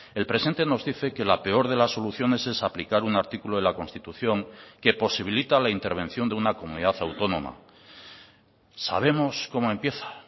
el presente nos dice que la peor de las soluciones es aplicar un artículo de la constitución que posibilita la intervención de una comunidad autónoma sabemos cómo empieza